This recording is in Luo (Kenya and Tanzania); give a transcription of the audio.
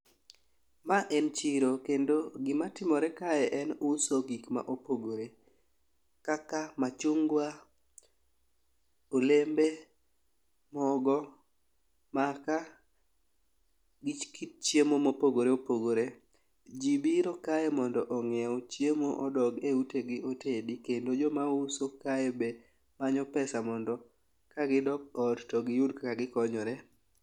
Ma en chiro kendo gima timore kae en uso gik ma opogore kaka machungwa , olembe ,mogo ,makaa gi kit chiemo mopogore opogore. Jii biro kae mondo onyiew chiemo odog e ute gi otedi kendo jo ma uso kae manyo pesa mondo ka gidok ot to giyud kaka gikonyore.